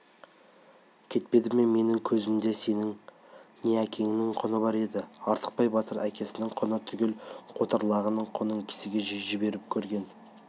кетпеді ме менің көзімде сенің не әкеңнің құны бар еді артықбай батыр әкесінің құны түгіл қотыр лағының құнын кісіге жіберіп көрген